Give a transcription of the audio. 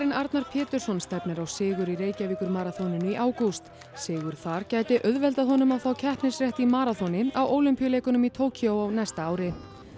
Arnar Pétursson stefnir á sigur í Reykjavíkurmaraþoninu í ágúst sigur þar gæti auðveldað honum að fá keppnisrétt í maraþoni á Ólympíuleikunum í Tókýó á næsta ári